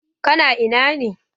Ka na ina ne?